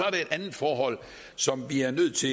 et andet forhold som vi er nødt til